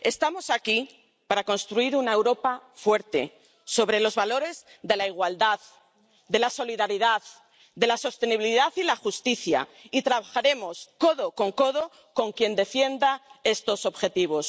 Estamos aquí para construir una Europa fuerte sobre los valores de la igualdad, de la solidaridad, de la sostenibilidad y de la justicia, y trabajaremos codo con codo con quien defienda estos objetivos.